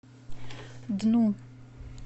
дну